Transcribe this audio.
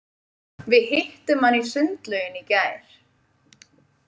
Við hittum hann í sundlauginni í gær.